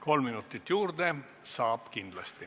Kolm minutit juurde saab kindlasti.